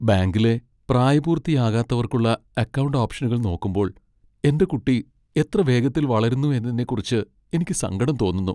ബാങ്കിലെ പ്രായപൂർത്തിയാകാത്തവർക്കുള്ള അക്കൗണ്ട് ഓപ്ഷനുകൾ നോക്കുമ്പോൾ എന്റെ കുട്ടി എത്ര വേഗത്തിൽ വളരുന്നു എന്നതിനെക്കുറിച്ച് എനിക്ക് സങ്കടം തോന്നുന്നു.